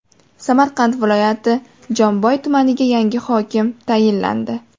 Samarqand viloyati Jomboy tumaniga yangi hokim tayinlandi.